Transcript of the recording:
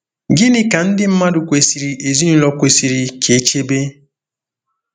Gịnị ka ka ndị mmadụ kwesịrị ezinụlọ kwesịrị ka e chebe?